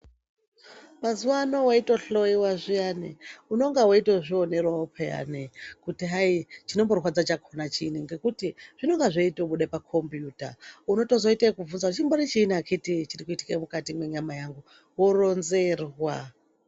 Mazuwaano weitohloiwa zviyani, unonga weitozvionerawo pheyani kuti hayi, chinomborwadza chakhona chiini, ngekuti, zvinonga zveitobude pakhombiyuta .Unotozoite ekubvunza kuti ,"Chimbori chiini akhiti chiri kuitike mukati mwenyama yangu."Woronzerwa .